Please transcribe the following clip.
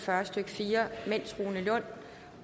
fyrre stykke fire mens rune lund